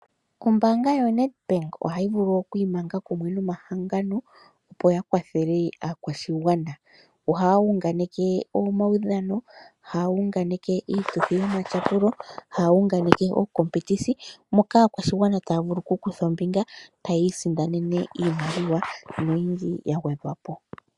Ombaanga yoNedbank ohayi vulu oku imanga kumwe nomahangano, opo ya kwathele oshigwana. Ohaya unganeke omaudhano, haa unganeke iituthi yomatyapulo, haa unganeke ookompetisi, moka aakwashigwana taya vulu okukutha ombinga, taya isindanene iimaliwa noyindji ya gwedhwa po.